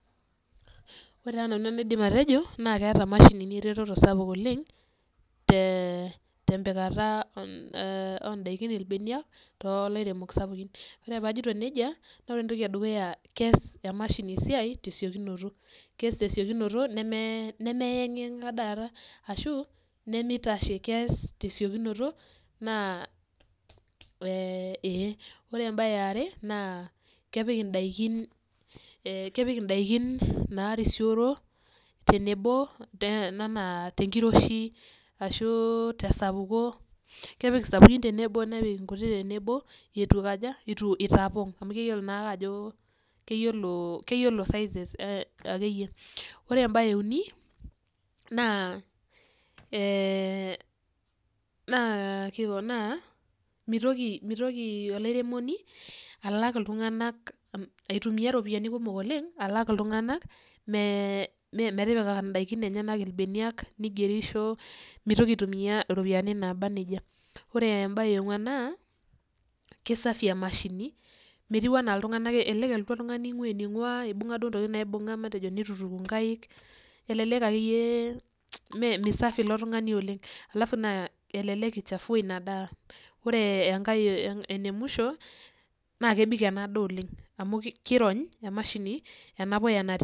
Ore taa nanu enaidim atejo naa keeta imashinini ereteto sapuk oleng',tembikata ondaikin ilbeniak too lairemok sapukin. Ore paajito nejia, ore entoki edukuya keas imashini esiai tesiokinoto, keas tesiokinoto nemeyankinyanka dakata, ashu neme taishe keas tesiokinoto naa ee. Ore embae eare naa kepik indaiki naarisioro, tenebo enaa tenkiroshi, ashu tesapuko kepik isapukin tenabo nepik enkutiti tenebo eitu kajo, eitu eitaponk amu keyiolo size akeyie. Ore embae euni naa ee mitoki olairemoni aitumiya iropiyiani kumok alak iltunganak metipika indaiki enye ilbeneniak, nigerisho mitoki aitumiya iropiyiani naaba nejia. Ore embae eonkuan naa kisafi emashini, metiu enaa iltunganak elelek elotu oltungani einkua eninkua, ibunga duo intokitin naibunga matejo neitu ituku inkaik elelek akeyie misafi ilo tungani oleng', alafu naa elelek eichafua ina daa. Ore enkae naa enemwisho naa kebik ena daa oleng' amu kirony emashini enapuya natii.